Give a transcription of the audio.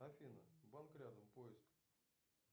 афина банк рядом поиск